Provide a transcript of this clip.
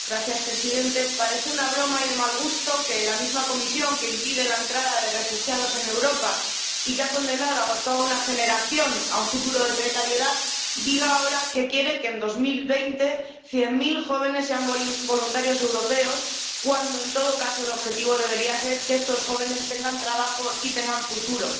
Señor presidente, parece una broma, y de mal gusto, que la misma Comisión que impide la entrada de refugiados en Europa y que ha condenado a toda una generación a un futuro de precariedad diga ahora que quiere que, en 2020, cien mil jóvenes sean voluntarios europeos cuando, en todo caso, el objetivo debería ser que estos jóvenes tengan trabajo y tengan futuro.